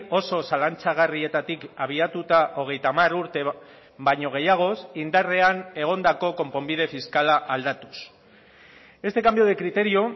oso zalantzagarrietatik abiatuta hogeita hamar urte baino gehiagoz indarrean egondako konponbide fiskala aldatuz este cambio de criterio